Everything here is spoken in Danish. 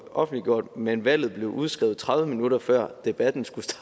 offentliggjort men valget blev udskrevet tredive minutter før debatten skulle